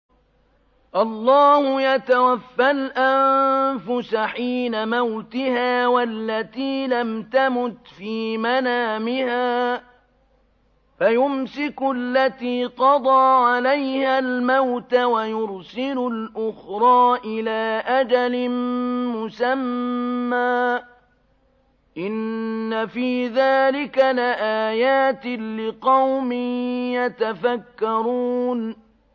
اللَّهُ يَتَوَفَّى الْأَنفُسَ حِينَ مَوْتِهَا وَالَّتِي لَمْ تَمُتْ فِي مَنَامِهَا ۖ فَيُمْسِكُ الَّتِي قَضَىٰ عَلَيْهَا الْمَوْتَ وَيُرْسِلُ الْأُخْرَىٰ إِلَىٰ أَجَلٍ مُّسَمًّى ۚ إِنَّ فِي ذَٰلِكَ لَآيَاتٍ لِّقَوْمٍ يَتَفَكَّرُونَ